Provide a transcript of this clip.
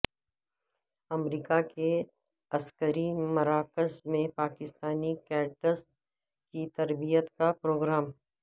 امریکہ کے عسکری مراکز میں پاکستانی کیڈٹس کی تربیت کا پروگرام